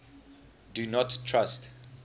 do not trust